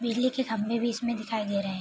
बिजली के खम्बे भी इसमें दिखाई दे रहे हैं।